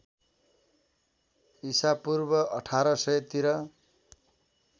इसापूर्व १८०० तिर